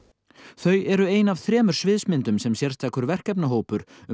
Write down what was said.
þau eru ein af þremur sviðsmyndum sem sérstakur verkefnahópur um